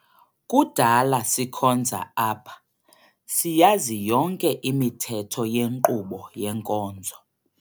Kudala sikhonza apha, siyazi yonke imithetho yenkqubo yenkonzo.